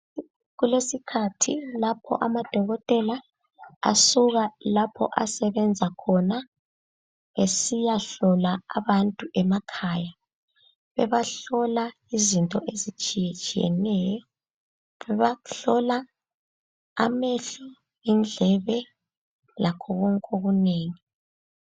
Kulesikhathi lapho amadokotela asuka lapho asebenza khona esiyahlola abantu emakhaya. Bebahlola izinto ezitshiyetshiyeneyo, bebahlola amehlo, indlebe lakho konke okunengi.